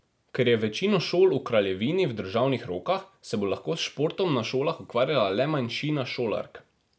Ker je večino šol v kraljevini v državnih rokah, se bo lahko s športom na šolah ukvarjala le manjšina šolark.